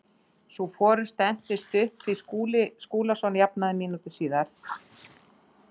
Sú forusta entist stutt því Skúli Skúlason jafnaði mínútu síðar.